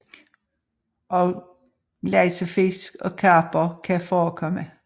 Også laksefisk og karper kan forekomme